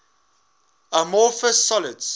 amorphous solids